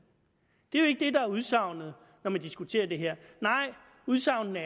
det er det der er udsagnet når man diskuterer det her nej udsagnene